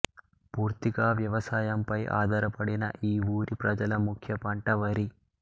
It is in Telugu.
పూర్తిగా వ్యవసాయంపై ఆధారపడిన ఈ ఊరి ప్రజల ముఖ్య పంట వరి